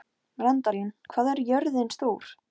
Var það kallað norðurhús eða kamers